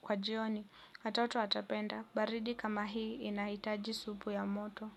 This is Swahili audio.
kwa jioni. Watoto watapenda. Baridi kama hii inahitaji supu ya moto.